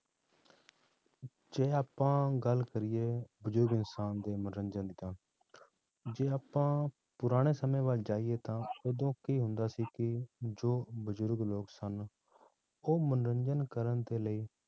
ਜੇ ਆਪਾਂ ਗੱਲ ਕਰੀਏ ਬਜ਼ੁਰਗ ਇਨਸਾਨ ਦੇ ਮਨੋਰੰਜਨ ਦੀ ਤਾਂ ਜੇ ਆਪਾਂ ਪੁਰਾਣੇ ਸਮੇਂ ਵੱਲ ਜਾਈਏ ਤਾਂ ਉਦੋਂ ਕੀ ਹੁੰਦਾ ਸੀ ਕਿ ਜੋ ਬਜ਼ੁਰਗ ਲੋਕ ਸਨ, ਉਹ ਮਨੋਰੰਜਨ ਕਰਨ ਦੇ ਲਈ